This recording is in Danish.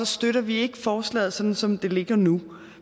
støtter vi ikke forslaget som som det ligger nu